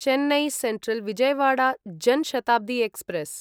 Chennai Central Vijayawada Jan Shatabdi express